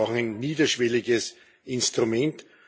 Wir brauchen ein niederschwelliges Instrument.